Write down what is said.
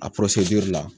A la